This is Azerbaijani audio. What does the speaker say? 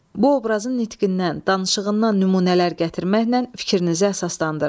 Bu obrazın nitqindən, danışığından nümunələr gətirməklə fikrinizi əsaslandırın.